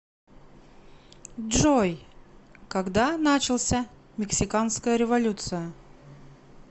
джой когда начался мексиканская революция